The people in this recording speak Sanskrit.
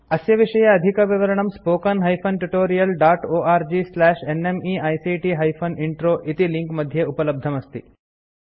अस्य विषये अधिकविवरणं spoken hyphen tutorial dot org slash NMEICT hyphen intro इति लिंक मध्ये उपलब्धमस्ति